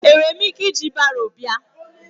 Enwere m ike iji baro bịa?